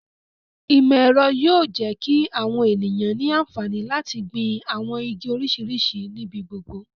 Imọ-ẹrọ yóò jẹ ki awọn eniyan ni anfani lati gbin awọn igi oriṣiriṣi nibi gbogbo